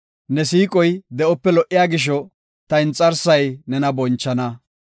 Ne siiqoy de7ope lo77iya gisho, ta inxarsay nena bonchana.